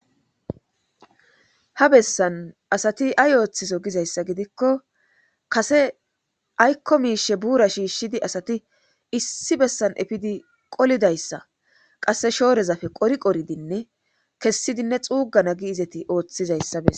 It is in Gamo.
ha bessan asati ay ooththiso gizayssa gidikko kase aykko miishe buura shiishshidi asati issi bessan efidi qolidayssa qasse shoorezafe qori qoridinne kessidinne xuugana gi izati ooththizayssa besa